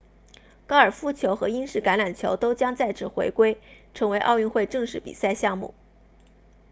高尔夫球和英式橄榄球都将再次回归成为奥运会正式比赛项目